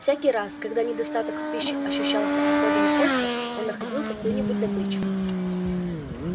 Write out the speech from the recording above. всякий раз когда недостаток в пище ощущался особенно остро он находил какую-нибудь добычу